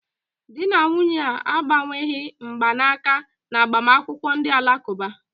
Di na nwunye a agbanweghị mgbanaka na agbamakwụkwọ Ndi alakuba.